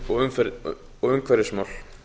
uppi á hálendinu og umhverfismál